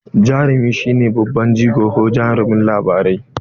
Jarumi shi ne babban jigo ko jarumin labari.